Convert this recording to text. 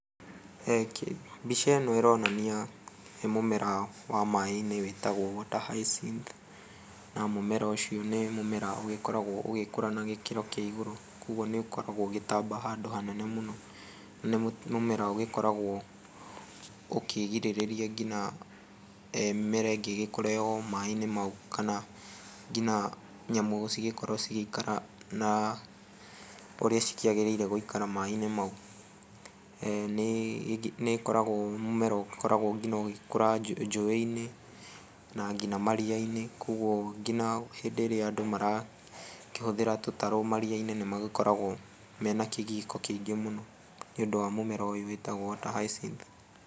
Mbica ĩno ĩronania nĩ mũmera wĩtagwo water hyacinth na mũmera ũcio nĩ mũmera ũgĩkoragwo ũgĩkũra na gĩkĩro kĩa iguru koguo nĩ ũkoragwo ũgĩtamba handũ hanene mũno nĩ mũmera ũgĩkoragwo ũkĩgĩrĩrĩria nginya mĩmera ingĩ ĩgĩkũre o maĩ-inĩ mau kana nginya nyamũ cigĩkorwo cigĩikara na ũrĩa cikĩagĩrĩire gũikara maĩ-inĩ mau, nĩ ĩkoragwo mũmera ũgĩkoragwo nginya ũgĩkũra njũĩ-inĩ na nginya maria-inĩ koguo nginya hĩndĩ ĩrĩa andũ marakĩhũthĩra tũtarũ maria-inĩ nĩ magĩkoragwo mena kĩgiĩko kĩingĩ mũno nĩ ũndũ wa mũmera ũyũ wĩtagwo water hyacinth.